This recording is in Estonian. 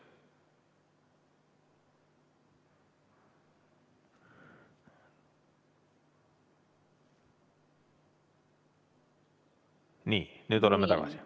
Nii, nüüd oleme tagasi.